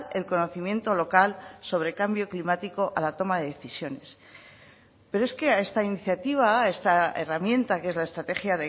el conocimiento local sobre cambio climático a la toma de decisiones pero es que a esta iniciativa a esta herramienta que es la estrategia